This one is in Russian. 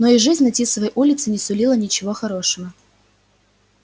но и жизнь на тисовой улице не сулила ничего хорошего